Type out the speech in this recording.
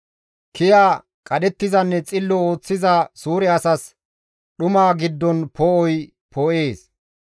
Kiya, qadhettizanne xillo ooththiza suure asas dhuma giddon poo7oy poo7ees.